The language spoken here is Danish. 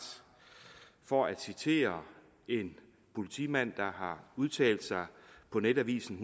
for at citere en politimand der har udtalt sig på netavisen